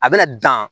A bɛna dan